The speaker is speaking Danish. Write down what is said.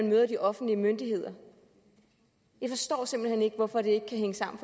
møder de offentlige myndigheder jeg forstår simpelt hen ikke hvorfor det ikke kan hænge sammen